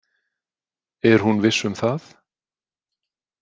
Er hún viss um það?